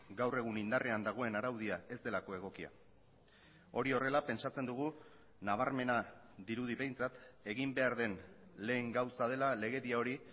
gaur egun indarrean dagoen araudia ez delako egokia hori horrela pentsatzen dugu nabarmena dirudi behintzat egin behar den lehen gauza dela legedia hori